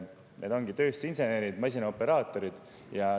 Need on tööstusinsenerid, masinaoperaatorid.